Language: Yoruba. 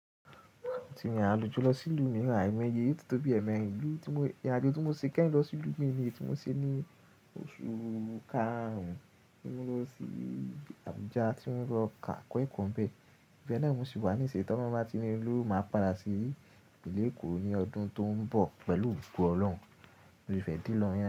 Tí ale jọ lo sí ìlú mìíràn, aimọ ye yo ti tó bí ẹ̀mẹ́rin, irin ajo ti mó ṣi kẹ́yin lọ sí ìlú mìí ni eyí ti wóṣe ní oṣù karùn tí mó lọ sí Abuja tí mó lọ kọ́ ekọ̀nbẹ̀. Ibẹ́ẹ̀ náà ni, mó sì wà ní ìṣiyin ti olorun báti ní lowo máa padà sí ìlú Èkó ní ọdún tó ń bọ̀ pẹ̀lú Ògo Ọlọ́run. Mo fẹ́ de lọ.